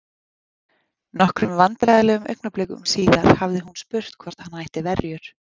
Nokkrum vandræðalegum augnablikum síðar hafði hún spurt hvort hann ætti verjur?